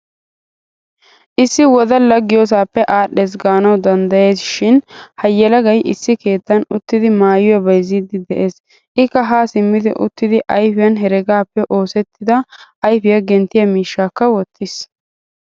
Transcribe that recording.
Issi wodala giyosappekka adhdhees gaanawu danddayays shin ha yelagay issi keettan uttidi maayuwaa bayzzidi de'ees. Ikka ha simmid uttid ayfiyan heregappe oosettida ayfiya genttiya miishshaaka wottiis.